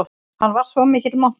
Hann var svo mikill montrass.